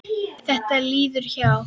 Þetta líður hjá.